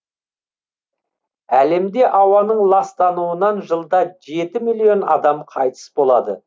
әлемде ауаның ластануынан жылда жеті миллион адам қайтыс болады